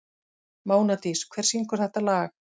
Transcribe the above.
Mánadís, hver syngur þetta lag?